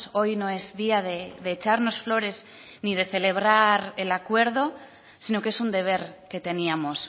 hoy no es día de echarnos flores ni de celebrar el acuerdo sino que es un deber que teníamos